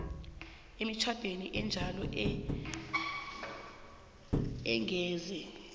emitjhadweni enjalo angeze